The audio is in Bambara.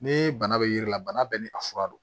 Ni bana be yiri la bana bɛɛ ni a fura don